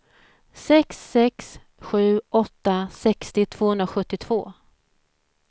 sex sex sju åtta sextio tvåhundrasjuttiotvå